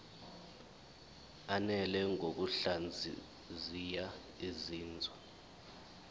ananele ngokuhlaziya izinzwa